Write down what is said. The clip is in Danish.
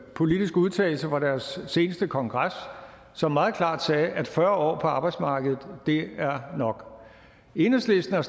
politiske udtalelse fra deres seneste kongres som meget klart sagde at fyrre år på arbejdsmarkedet er nok enhedslisten har